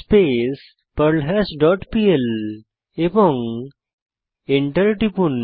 space perl hash dot PL এবং enter টিপুন